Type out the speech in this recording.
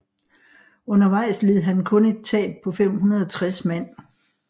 Undervejs led han kun et tab på 560 mand